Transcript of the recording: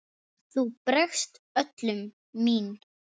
Þú bregst öllum mín